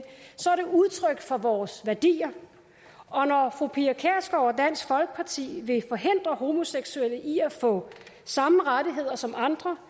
udtryk for vores værdier og når fru pia kjærsgaard og dansk folkeparti vil forhindre homoseksuelle i at få samme rettigheder som andre